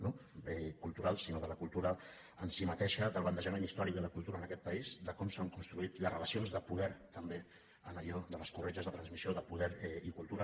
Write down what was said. no culturals sinó de la cultura en si mateixa del bandejament històric de la cultura en aquest país de com s’han construït les relacions de poder també en allò de les corretges de transmissió de poder i cultura